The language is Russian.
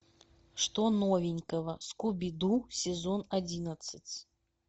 что новенького скуби ду сезон одиннадцать